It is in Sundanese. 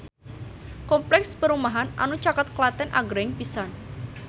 Kompleks perumahan anu caket Klaten agreng pisan